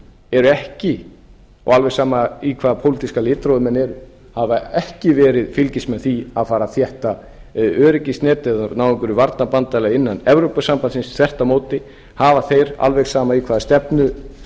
eru ekki og alveg sama í hvaða pólitíska litrófi menn eru hafa ekki verið fylgismenn þess að fara að þétta öryggisnet eða ná einhverju varnarbandalagi innan evrópusambandsins þvert á móti hafa þeir alveg sama í hvaða stefnu